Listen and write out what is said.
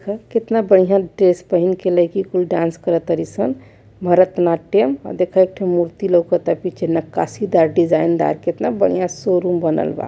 देखअ केतना बढ़िया ड्रेस पहिंन के लईकी कुल डांस कर तारी सं भरतनाट्यम अ देख एक ठे मूर्ति लौउकता आ पीछे नक्काशी दार डिज़ाइन दार केतना बढ़िया शोरूम बनल बा।